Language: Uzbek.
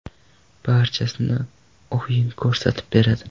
Barchasini o‘yin ko‘rsatib beradi.